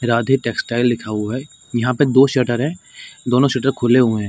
Radhe textile लिखा हुआ है यहाँ पे दो शटर है दोनों शटर खुले हुए हैं।